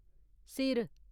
सिर